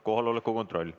Kohaloleku kontroll.